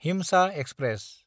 हिमसा express